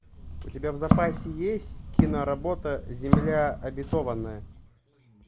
у тебя в запасе есть киноработа земля обетованная